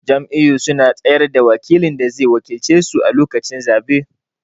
Jam'iyyu suna tsayar da wakilin da zai wakilce su a lokacin zabe.